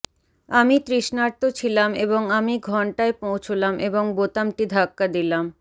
আমি তৃষ্ণার্ত ছিলাম এবং আমি ঘণ্টায় পৌঁছলাম এবং বোতামটি ধাক্কা দিলাম